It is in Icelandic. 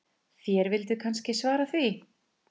Þér vilduð kannski svara því.